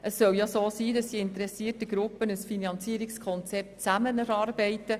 Vielmehr sollen die interessierten Gruppen zusammen ein Finanzierungskonzept erarbeiten.